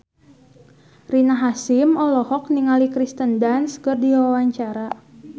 Rina Hasyim olohok ningali Kirsten Dunst keur diwawancara